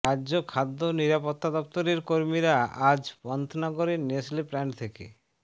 রাজ্য খাদ্য নিরাপত্তা দফতরের কর্মীরা আজ পান্তনগরের নেসলে প্ল্যান্টে থেকে